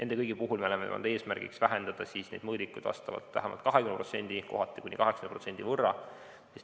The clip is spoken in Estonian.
Me oleme seadnud eesmärgiks vähendada mõõdikuid vähemalt 20%, kohati kuni 80%.